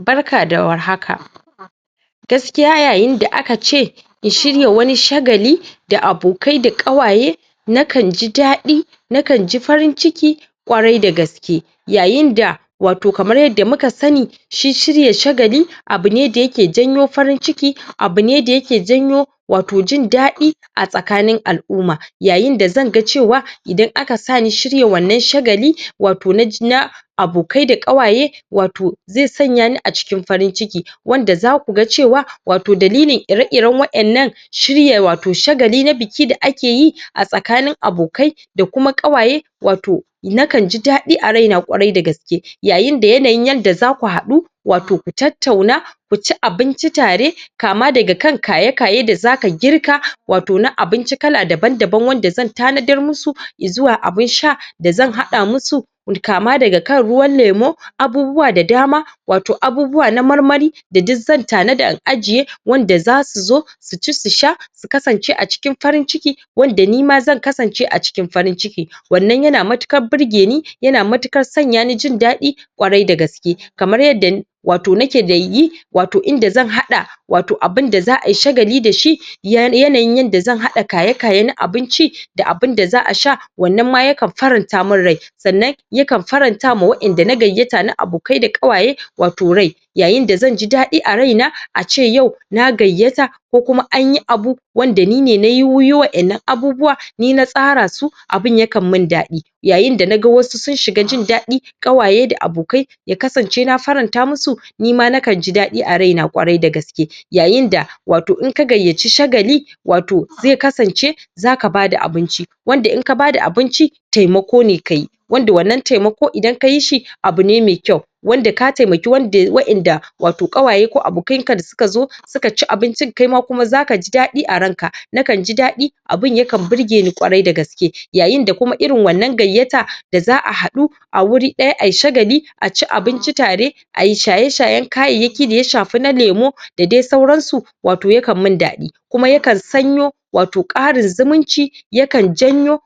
Barka da warhaka, gaskiya yayin da akace in shige wani shagali da abokai da ƙawaye nakan ji daɗi nakanji farin ciki ƙwarai da gaske yayin da wato kamar yadda muka sani shi shirya shagali abune da yake janyo farin ciki abune da yake janyo wato jin daɗi a tsaka nin al-umma yayin da zanga cewa idan aka sani shirya wannan shagali wato naji na abokai ƙawaye wato ze sanya ni a cikin farinciki wanda zakuga cewa wato dalilin ire-iren waƴannan shirya wato shagali na biki da akeyi a tsakanin abokai da kuma ƙawaye wato nakan ji daɗi a raina ƙwarai da gaske yayin da yanayin yanda zaku haɗu wato ku tattauna kuci abinci tare kama daga kan kaye-kaye da zaka girka wato na abinci ka daban-daban wanda zan tanadar musu izwa abun sha dazan haɗa musu kama daga kan ruwan lemo abubuwa da dama wato abubuwa na marmari da duk zan tanada in ajiye wanda zasu so suci su sha su kasance a cikin farin ciki wanda nima zan kasance a cikin farin ciki wannan yana matuƙar burgeni yana matuƙar sanya ni jin daɗi ƙwarai da gaske. yadda wato da nake wato inda zan haɗa wato abunda za ai shagali dashi yana yinyanda zan haɗa kaye-kaye na abinci da abunda zaʼa sha wannan ma yakan faranta mun rai sannan yakan farantawa waƴanda na gayyata na abokai da ƙawaye wato rai yayin da zanji daɗi a raina ace yau na gayyata ko kuma anyi abu wanda nine nayi waƴannan abubuwa ni na tsara su, abun yakan min daɗi yayin da naga wasu sun shiga jin daɗi, ƙawaye da abokai ya kasance na faranta musu nima nakan ji daɗi a raina ƙwarai da gaske yayin da wato inka gayyaci shagali wato ze kasance zaka bada abunci, wanda inka bada abunci taimako ne kayi wanda wannan taimako Idan kayi shi abune me kyau wanda ka taimako waƴanda wato ƙawaye ko abokan ka da suka zo suka ci abinci kaima kuma zakaji daɗi a ranka nakanji daɗi abun yakan burge ni ƙwarai da gaske yayin da kuma irin wannan gayyata da zaʼa haɗu a wuri ɗaya ai shagali aci abinci tare ayi shaye-shayen kayayyaki daya shafi na lemo dadai-sauransu wato yakan min daɗi kuma yakan sanyo wato ƙarin zumunci, yakan janyo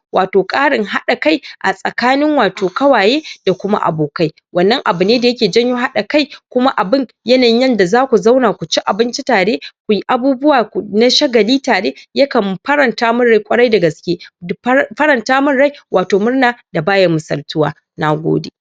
ƙarin haɗa kai tsakanin wato ƙawaye da kuma abokai wannan abune da yake janyo haɗa kai kuma abun yanayin yadda zaku zauna kuci abinci tare kuyi abubuwa na shagali tare yakan faranta mun rai ƙwarai da gaske faranta min rai wato murna da baya misaltuwa. NA GODE.